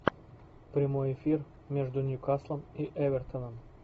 прямой эфир между ньюкаслом и эвертоном